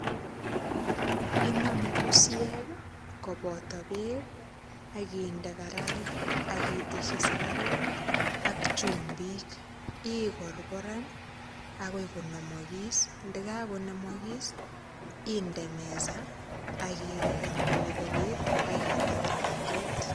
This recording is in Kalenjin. Iname busiek, koboto beek, akinde karait, akiteshi sikaruk ak chumbik. Ikorokoran akoi konamakis. Ndakakonamakis, inde mesa kolebelit, akinde kirangit.